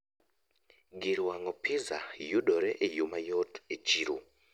Gir wang'o pizza yudore e yoo mayot e chiro